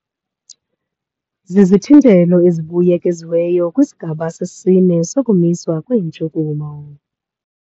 Zizithintelo ezibuyekiziweyo kwisigaba sesine sokumiswa kweentshukumo.